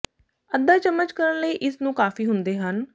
ਅੱਧਾ ਚਮਚ ਕਰਨ ਲਈ ਇਸ ਨੂੰ ਕਾਫੀ ਹੁੰਦੇ ਹਨ